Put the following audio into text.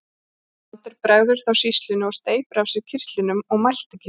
Brandur bregður þá sýslunni og steypir af sér kyrtlinum og mælti ekki.